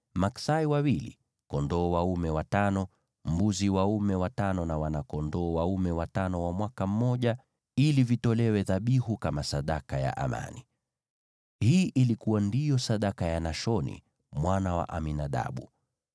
maksai wawili, kondoo dume watano, mbuzi dume watano na wana-kondoo dume watano wa mwaka mmoja, ili vitolewe dhabihu kama sadaka ya amani. Hii ndiyo ilikuwa sadaka ya Nashoni mwana wa Aminadabu.